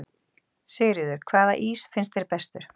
Sigríður: Hvaða ís finnst þér bestur?